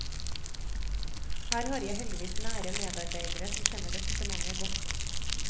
Her har jeg heldigvis nære medarbeidere som kjenner departementet godt.